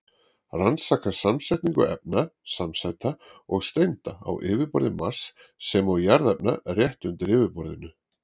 Rannsaka samsetningu efna, samsæta og steinda á yfirborði Mars sem og jarðefna rétt undir yfirborðinu.